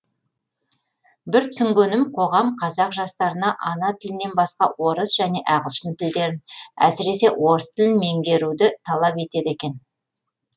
бір түсінгенім қоғам қазақ жастарына ана тілінен басқа орыс және ағылшын тілдерін әсіресе орыс тілін меңгеруді талап етеді екен